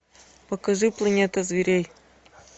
покажи планета зверей